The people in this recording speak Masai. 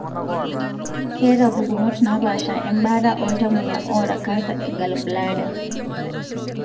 keeta pukunot napasha embaata oltamoyia oata cancer e gallbladder.